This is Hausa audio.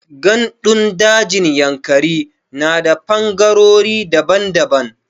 Ganɗun dajin Yankari na da fangarori daban daban.